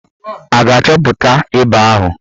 A ga-achọpụta ịba ahụ?